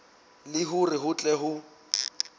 le hore ho tle ho